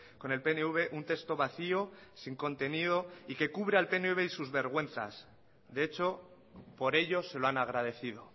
con el pnv un texto vacío sin contenido y que cubre al pnv y sus vergüenzas de hecho por ello se lo han agradecido